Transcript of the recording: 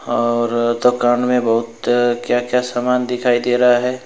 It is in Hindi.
और दुकान में बहुत क्या क्या सामान दिखाई दे रहा है?